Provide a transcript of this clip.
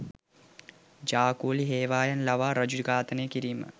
ජා කුලී හේවායන් ලවා රජුව ඝාතනය කිරීම